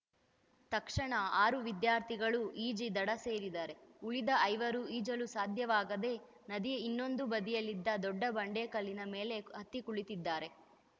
ತಕ್ಷಣ ಆರು ವಿದ್ಯಾರ್ಥಿಗಳು ಈಜಿ ದಡ ಸೇರಿದರೆ ಉಳಿದ ಐವರು ಈಜಲು ಸಾಧ್ಯವಾಗದೇ ನದಿಯ ಇನ್ನೊಂದು ಬದಿಯಲ್ಲಿದ್ದ ದೊಡ್ಡ ಬಂಡೆಕಲ್ಲಿನ ಮೇಲೆ ಹತ್ತಿ ಕುಳಿತಿದ್ದಾರೆ